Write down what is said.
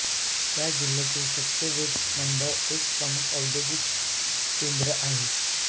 या जिल्ह्यातील सत्यवेद मंडल एक प्रमुख औद्योगिक केंद्र आहे